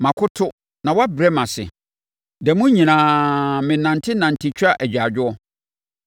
Makoto na wɔabrɛ me ase; da mu nyinaa menantenante twa agyaadwoɔ.